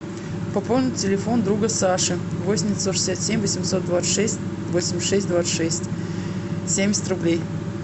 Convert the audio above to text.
пополнить телефон друга саши восемь девятьсот шестьдесят семь восемьсот двадцать шесть восемьдесят шесть двадцать шесть семьдесят рублей